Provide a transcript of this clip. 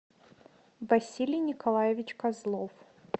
василий николаевич козлов